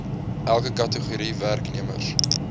elke kategorie werknemers